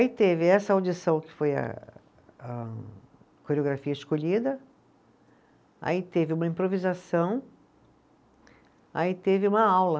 Aí teve essa audição que foi a a coreografia escolhida, aí teve uma improvisação, aí teve uma aula.